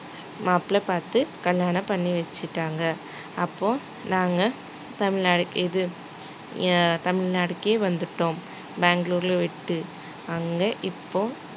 மாப்பிளை பாத்து கல்யாணம் பண்ணி வச்சுட்டாங்க அப்போ நாங்க தமிழ்நாடு இது அஹ் தமிழ்நாட்டுக்கே வந்துட்டோம் பெங்களூருல விட்டு அங்க இப்போ